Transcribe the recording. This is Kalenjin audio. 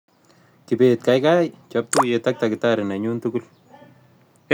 Kibet gaigai chob tuuyeet ak tagitari nenyun tugul